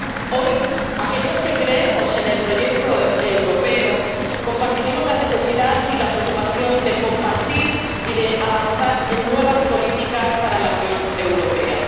Hoy, aquellos que creemos en el proyecto europeo compartiremos la necesidad y la preocupación de compartir y de avanzar en nuevas políticas para la Unión Europea.